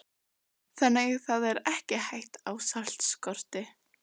Jóhanna: Þannig það er ekki hætta á saltskorti?